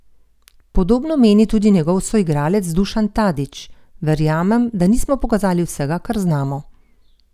Podobno meni tudi njegov soigralec Dušan Tadić: "Verjamem, da nismo pokazali vsega, kar znamo.